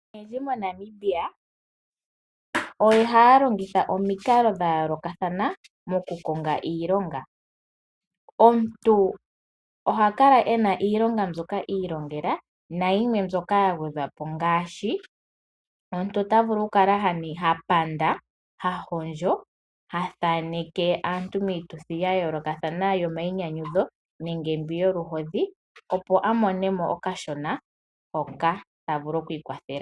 Aantu oyendji moNamibia ohaya longitha omikalo dha yoolokathana mokukonga iilonga. Omuntu oha kala ena iilonga mbyoka a ilongela nayimwe mbyoka ya gwedhwapo ngaashi :omuntu ota vulu oku kala ha panda, ha hondjo , ha thaneke aantu miituthi ya yoolokathana yomainyanyudho nenge mbi yoluhodhi opo a monemo okashona hoka ta vulu oku ikwatha nako.